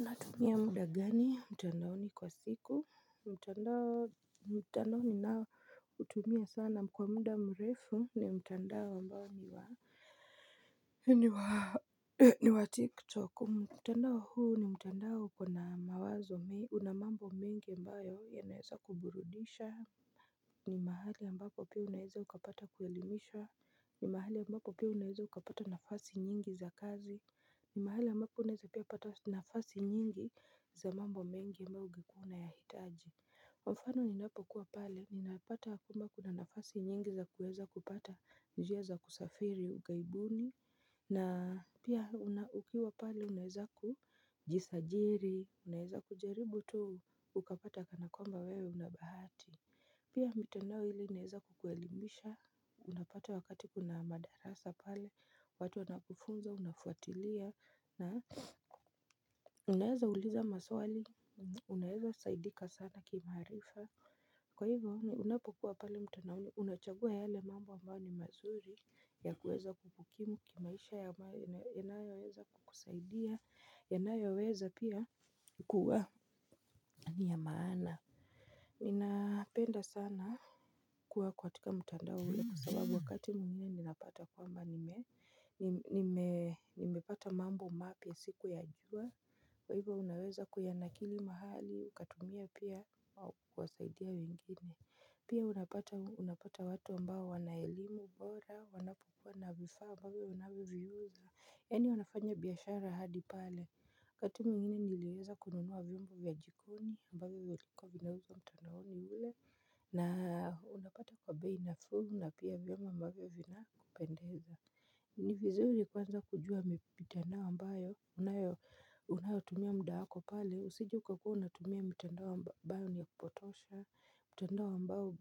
Natumia muda gani mtandaoni kwa siku mtandao ninaoutumia sana kwa muda mrefu ni mtandao ambao ni wa ni wa tiktok. Mtandao huu ni mtandao uko na mawazo una mambo mengi ambayo yanaweza kuburudisha. Ni mahali ambako pia unaweza ukapata kuelimishwa ni mahali ambapo pia unaweza ukapata nafasi nyingi za kazi. Mahali ambapo unaweza pia pata nafasi nyingi za mambo mengi ambayo ungekuwa unayahitaji kwa mfano ninapokuwa pale ninapata kama kuna nafasi nyingi za kuweza kupata njia za kusafiri ughaibuni. Na pia ukiwa pale unaweza kujisajili unaweza kujaribu tu ukapata kwamba wewe una bahati pia mitandao hili inaweza kuelemisha unapata wakati kuna madarasa pale watu wanakufunza unafuatilia na unaweza uliza maswali, unaweza saidika sana kimaarifa. Kwa hivyo, unapokuwa pale mtandaoni, unachagua yale mambo ambayo ni mazuri ya kuweza kukukimu kimaisha ambayo inayoweza kukusaidia, inayoweza pia kuwa ni ya maana. Ninapenda sana kuwa katika mtandao ule kwa sababu wakati mimi napata kwamba nimepata mambo mapya sikuyajua. Kwa hivyo unaweza kuyanakili mahali ukatumia pia au kuwasaidia wengine. Pia unapata watu ambao wana elimu bora wanapokuwa na vifaa ambavyo vinavyouzwa yaani wanafanya biashara hadi pale? Wakati mwingine niliweza kununua vyombo vya jikoni ambavyo vilikuwa vinauzwa mtandaoni ule. Na unapata kwa bei nafuu na pia vyombo ambavyo vinakupendeza ni vizuri kuanza kujua mtandao ambao unayotumia muda wako pale usije ukakuwa unatumia mtandao ni wa kupotosha. Mtandao ambao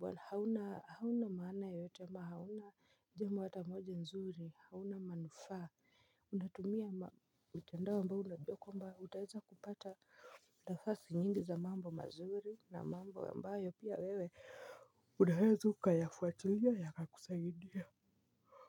hauna maana yeyote ama hauna jambo hata moja nzuri. Hauna manufaa, unatumia mtandao ambao unajua kwamba utaweza kupata nafasi nyingi za mambo mazuri na mambo ambayo pia wewe unaweza ukayafuatilia yakakusaidia.